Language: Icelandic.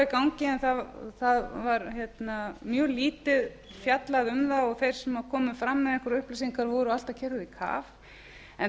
í gangi en það var mjög lítið fjallað um það og þeir sem komu fram með einhverjar upplýsingar voru alltaf keyrðir í kaf en